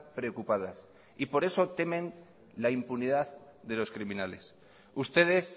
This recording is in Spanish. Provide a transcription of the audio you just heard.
preocupadas y por eso temen la impunidad de los criminales ustedes